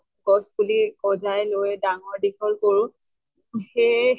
গছ পুলি গজাই লৈ ডাঙৰ দীঘল কৰোঁ, সেয়ে